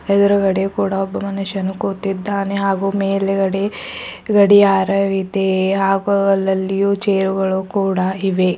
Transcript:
ಎದ್ರುಗಡೆ ಕೂಡ ಒಬ್ಬ ಮನುಷ್ಯನು ಕೂತಿದ್ದಾನೆ ಹಾಗೂ ಮೇಲಗಡೆ ಗಡಿಯಾರವಿದೆ ಹಾಗೂ ಅಲ್ಲಲಿಯೂ ಚೇರ್ ಗಳು ಕೂಡ ಇವೆ.